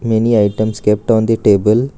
Many items kept on the table.